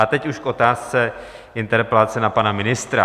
A teď už k otázce interpelace na pana ministra.